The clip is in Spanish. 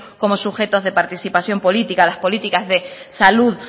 como sujetos de participación política las políticas de salud